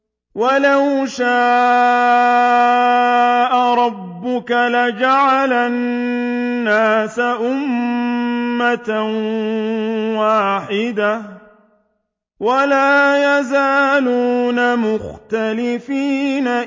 وَلَوْ شَاءَ رَبُّكَ لَجَعَلَ النَّاسَ أُمَّةً وَاحِدَةً ۖ وَلَا يَزَالُونَ مُخْتَلِفِينَ